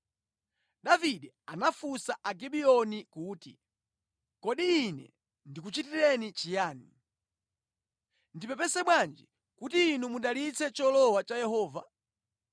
Davide anafunsa Agibiyoni kuti, “Kodi ine ndikuchitireni chiyani? Ndipepese bwanji kuti inu mudalitse cholowa cha Yehova?”